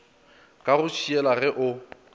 ka go šiela ge o